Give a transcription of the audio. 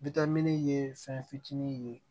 ye fɛn fitinin ye